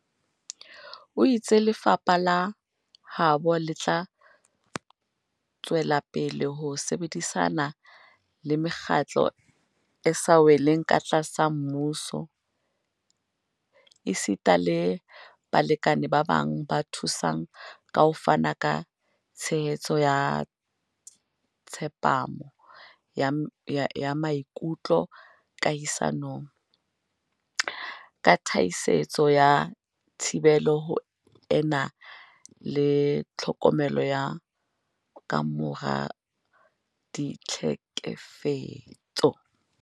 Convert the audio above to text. O itse lefapha la habo le tla tswelapele ho sebedisana le Mekgatlo e sa Weleng Katlasa Mmuso, NGOs, esita le balekane ba bang ba thusang ka ho fana ka tshehetso ya tsepamo ya maikutlo kahisanong, ka thasisetso ya thibelo ho ena le tlhokomelo ya kamora ditlhe kefetso.